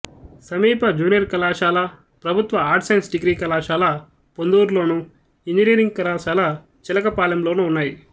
సమీప జూనియర్ కళాశాల ప్రభుత్వ ఆర్ట్స్ సైన్స్ డిగ్రీ కళాశాల పొందూరులోను ఇంజనీరింగ్ కళాశాల చిలకపాలెంలోనూ ఉన్నాయి